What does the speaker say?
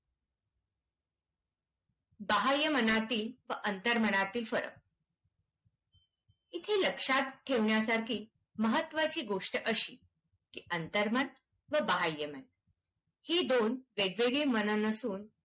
बाह्यमनातील व अंतर्मनातील फरक. इथे लक्षात ठेवण्यासारखी महत्त्वाची गोष्ट अशी की अंतर्मन व बाह्यमन ही दोन वेगवेगळी मनं नसून